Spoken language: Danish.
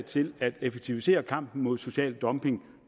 til at effektivisere kampen mod social dumping